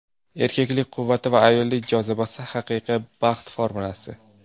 Erkaklik quvvati va ayollik jozibasi – haqiqiy baxt formulasi.